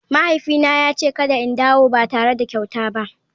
Mahaifina ya ce kada in dawo ba tare da kyauta ba.